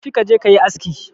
tafi ka je ka yi aski